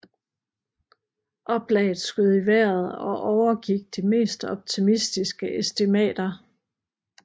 Oplaget skød i vejret og overgik de mest optimistiske estimater